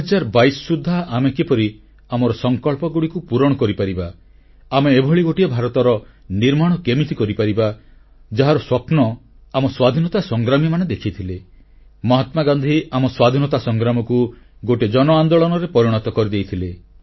2022 ସୁଦ୍ଧା ଆମେ କିପରି ଆମର ସଂକଳ୍ପଗୁଡ଼ିକୁ ପୂରଣ କରିପାରିବା ଆମେ ଏଭଳି ଗୋଟିଏ ଭାରତର ନିର୍ମାଣ କେମିତି କରିପାରିବା ଯାହାର ସ୍ୱପ୍ନ ଆମ ସ୍ୱାଧୀନତା ସଂଗ୍ରାମୀମାନେ ଦେଖିଥିଲେ ମହାତ୍ମାଗାନ୍ଧୀ ଆମ ସ୍ୱାଧୀନତା ସଂଗ୍ରାମକୁ ଗୋଟିଏ ଜନଆନ୍ଦୋଳନରେ ପରିଣତ କରିଦେଇଥିଲେ